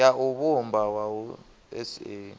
ya u vhumba wua sa